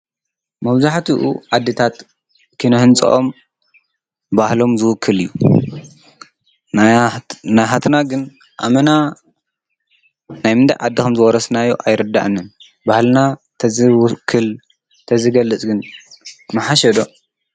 መውዙኃቲኡ ዓድታት ኪነሕንፅኦም ባህሎም ዝውክል እዩ ናይ ኃትና ግን ኣመና ናይ ምንዳይ ዓድኸም ዘወረስናዮ ኣይረዳእንን ባህልና ተዘውክል ተዝገልጽ ግን መሓሸዶ?